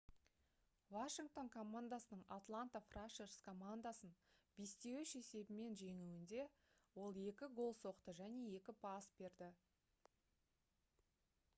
washington командасының atlanta thrashers командасын 5:3 есебімен жеңуінде ол 2 гол соқты және 2 пас берді